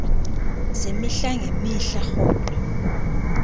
zemihla ngemihla rhoqo